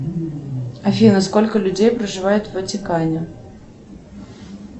афина сколько людей проживает в ватикане